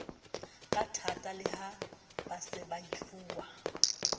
kathata le ha baseba efuwa